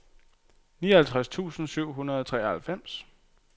nioghalvtreds tusind syv hundrede og treoghalvfems